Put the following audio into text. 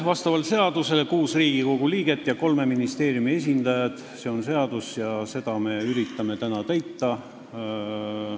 Vastavalt seadusele on seal kuus Riigikogu liiget ja kolme ministeeriumi esindajad, selline on seadus ja seda me üritame täna täita.